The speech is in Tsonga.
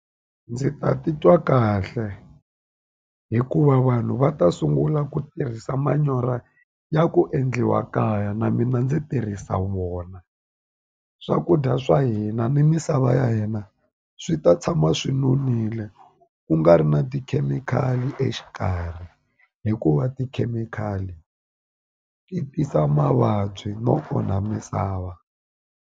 Ndzi ta titwa kahle hikuva vanhu va ta sungula ku tirhisa manyoro ya ku endliwa kaya na mina ndzi tirhisa wona swakudya swa hina ni misava lava ya hina swi ta tshama swi nonile ku nga ri na tikhemikhali exikarhi hikuva tikhemikhali ti tisa mavabyi no onha misava.